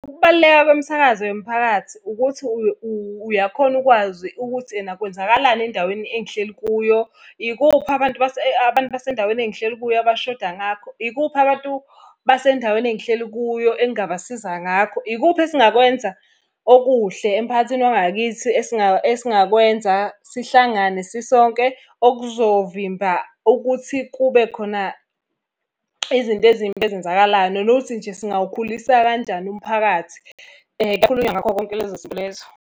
Ukubaluleka kwemisakazo yemphakathi ukuthi uyakhona ukwazi ukuthi ena kwenzakalani endaweni engihleli kuyo. Ikuphi abantu abantu basendaweni engihleli kuyo abashoda ngakho. Ikuphi abantu basendaweni engihleli kuyo engingabasiza ngakho. Ikuphi esingakwenza okuhle emphakathini wangakithi esingakwenza sihlangane sisonke okuzovimba ukuthi kube khona izinto ezimbi ezenzakalayo. Nanokuthi nje singawukhulisa kanjani umphakathi. Kukhulunywa ngakho konke lezo zinto lezo.